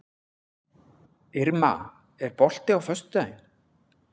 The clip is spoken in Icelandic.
Irma, er bolti á föstudaginn?